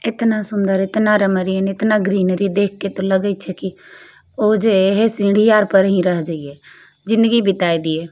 एतना सुन्दर एतना र मरीन एतना ग्रीनरी देखके त लगे छे की ओजे ऐहे सीढी आर पर ही रह जइये जिंदगी बिताय दिये।